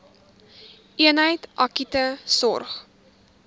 eenheid akute sorg